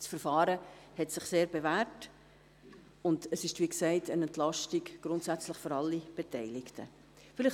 Das Verfahren hat sich sehr bewährt, und es ist – wie gesagt – grundsätzlich für alle Beteiligten eine Entlastung.